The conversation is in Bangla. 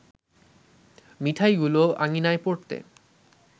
মিঠাইগুলো আঙিনায় পড়তে